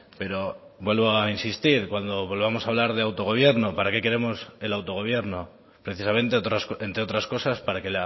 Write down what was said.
pero vuelvo a insistir cuando volvamos a hablar de autogobierno para qué queremos el autogobierno precisamente entre otras cosas para que